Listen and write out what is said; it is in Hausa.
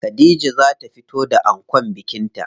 Khadija za ta fito da ankon bikin ta.